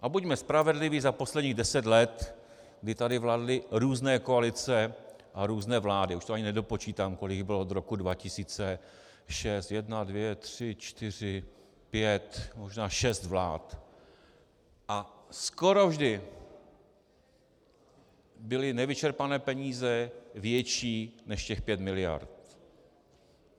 A buďme spravedliví, za posledních deset let, kdy tady vládly různé koalice a různé vlády, už to ani nedopočítám, kolik jich bylo od roku 2006 - jedna, dvě, tři, čtyři, pět, možná šest vlád -, a skoro vždy byly nevyčerpané peníze větší než těch pět miliard.